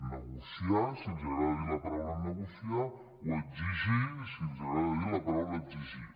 negociar si els agrada dir la paraula negociar o exigir si els agrada dir la paraula exigir